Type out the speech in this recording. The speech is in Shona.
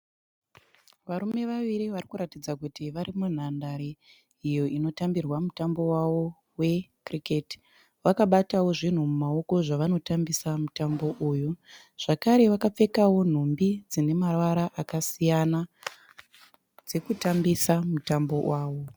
Varume vaviri varikuratidza kuti vari munhandare iyo inotambirwa mutambo wavo wekiriketi. Vakabatawo zvinhu mumaoko zvavanotambisa mutambo uyu. Zvekare vakapfekawo nhumbi dzine mavara akasiyana dzekutambisa mutambo wavo.